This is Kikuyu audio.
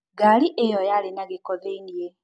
Ngari ĩyo yarĩ na gĩko thĩiniĩ